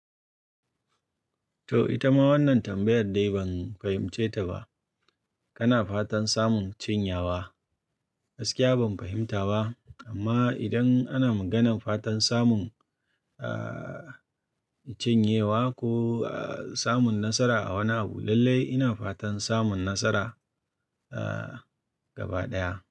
To ita ma wannan tambayar dai ban fahimce ta ba. Kana fatan samun cinyawa? Gaskiya ban fahimta ba amma idan ana maganan fatan samun, ah, cin yawa ko, ah, samun nasara a wani abu lallai ina fatan samun nasara, ah, gaba ɗaya.